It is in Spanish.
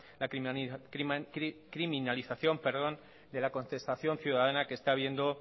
la criminalización de la contestación ciudadana que está viendo